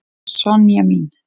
Sonja mín.